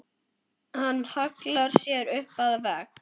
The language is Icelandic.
Hann hallar sér upp að vegg.